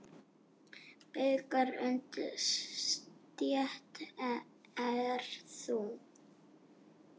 Bikar undir stétt er sú.